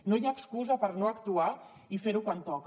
no hi ha excusa per no actuar i fer ho quan toca